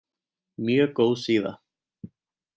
Mjög góð síða.